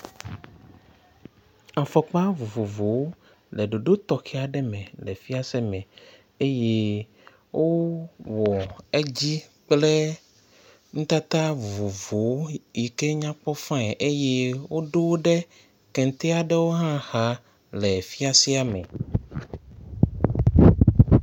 Afɔkpa vovovowo le ɖoɖo tɔxɛ aɖe me le fiase me eye wowɔ edzi kple nutata vovovowo yi ke nya kpɔ fain eye woɖo ɖe kete aɖewo hã xa le fiasea me.